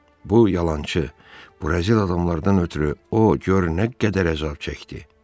Bu yalançı Brazil adamlardan ötrü o gör nə qədər əzab çəkdi.